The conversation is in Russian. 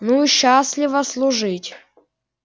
ну счастливо служить